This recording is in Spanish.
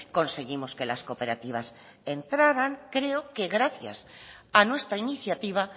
conseguimos que las cooperativas entraran creo que gracias a nuestra iniciativa